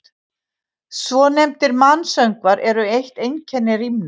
Svonefndir mansöngvar eru eitt einkenni rímna.